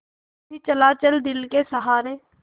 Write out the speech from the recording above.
यूँ ही चला चल दिल के सहारे